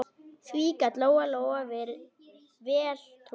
Því gat Lóa-Lóa vel trúað.